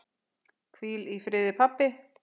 Hvíl í friði, pabbi.